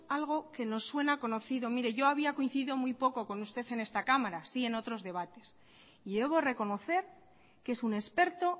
que nos suena conocido mire yo había coincidido en esta cámara sí en otros debates y debo de reconocer que es un experto